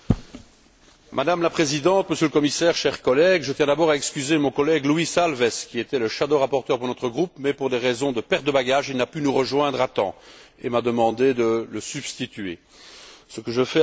Madame la Présidente, Monsieur le Commissaire, chers collègues, je tiens d'abord à excuser mon collègue Luís Alves, qui était le rapporteur fictif pour notre groupe, mais qui, pour des raisons de perte de bagages, n'a pu nous rejoindre à temps et m'a demandé de le remplacer, ce que je fais avec plaisir.